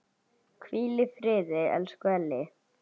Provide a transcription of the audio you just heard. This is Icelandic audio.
Hvíl í friði, elsku Elli.